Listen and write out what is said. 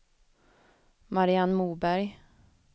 Mariann Moberg